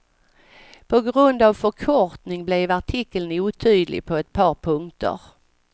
På grund av förkortning blev artikeln otydlig på ett par punkter.